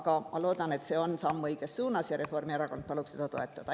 Aga ma loodan, et see on samm õiges suunas, ja Reformierakond palub toetada.